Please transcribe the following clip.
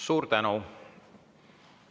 Suur tänu!